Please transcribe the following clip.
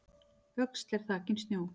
Öxl er þakin snjó